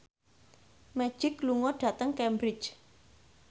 Magic lunga dhateng Cambridge